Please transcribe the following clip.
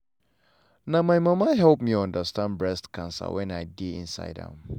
na my mama help me understand breast cancer when i dey insideh am.